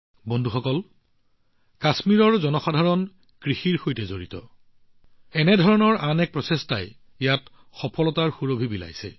বন্ধুসকল কৃষিৰ সৈতে সম্পৰ্কিত কাশ্মীৰৰ লোকসকলৰ এনে ধৰণৰ আন এক প্ৰচেষ্টাই আজিকালি ইয়াৰ সফলতাৰ সুবাস বৃদ্ধি কৰিছে